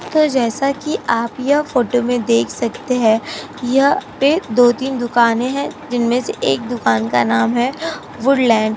तो जैसा की आप यहाँ फोटो में देख सकते है यहाँ पे दो तीन दुकाने है जिनमे से एक एक दुकान का नाम है वुडलैंड ।